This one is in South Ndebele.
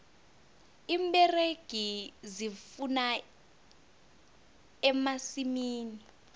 iimberegi zivuna emasimini